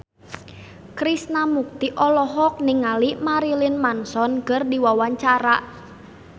Krishna Mukti olohok ningali Marilyn Manson keur diwawancara